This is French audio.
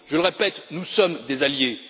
je le répète, nous sommes des alliés.